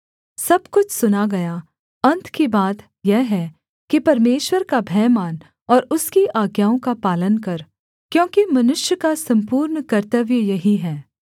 सब कुछ सुना गया अन्त की बात यह है कि परमेश्वर का भय मान और उसकी आज्ञाओं का पालन कर क्योंकि मनुष्य का सम्पूर्ण कर्तव्य यही है